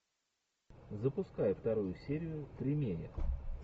запускай вторую серию тримея